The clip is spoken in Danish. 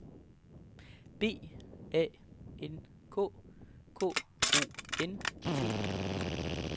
B A N K K O N T I